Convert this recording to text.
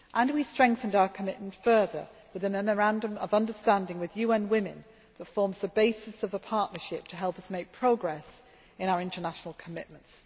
We strengthened our commitment further with a memorandum of understanding with UN Women that forms the basis of a partnership to help us make progress in our international commitments.